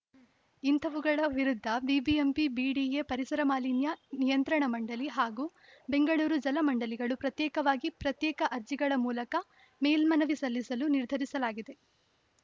ಇಂತಹವುಗಳ ವಿರುದ್ಧ BBMP BDA ಪರಿಸರ ಮಾಲಿನ್ಯ ನಿಯಂತ್ರಣ ಮಂಡಳಿ ಹಾಗೂ ಬೆಂಗಳೂರು ಜಲಮಂಡಳಿಗಳು ಪ್ರತ್ಯೇಕವಾಗಿ ಪ್ರತ್ಯೇಕ ಅರ್ಜಿಗಳ ಮೂಲಕ ಮೇಲ್ಮನವಿ ಸಲ್ಲಿಸಲು ನಿರ್ಧರಿಸಲಾಗಿದೆ